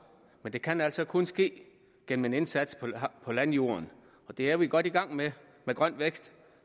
men det kan altså kun ske gennem en indsats på landjorden og det er vi godt i gang med med grøn vækst